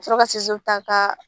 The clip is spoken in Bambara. Ka sɔrɔ ka ta ka